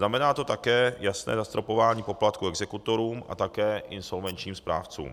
Znamená to také jasné zastropování poplatků exekutorům a také insolvenčním správcům.